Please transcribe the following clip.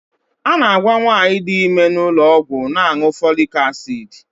A na-agwa nwaanyị di ime n'ụlọọgwụ na-aṅụ folik asid.